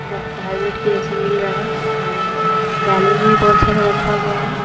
का हेलमेट के जैसा मिल रहा है और बैलून भी बहुत सारा रखा गया है।